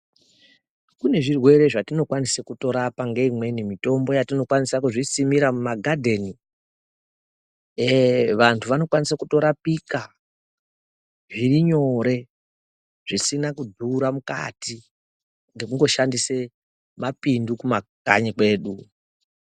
Kune zvirwere zvatino kwanise kuto rapa nge imweni mitombo yatino kwanisa kuzvi simira mu gadheni ee vantu vano kwanisa kuto rapika zviri nyore zvisina kudhura mukati ngekungo shandise mapindu ku makanyi kwedu.